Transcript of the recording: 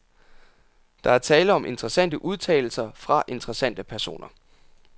Der er tale om interessante udtalelser fra interessante personer.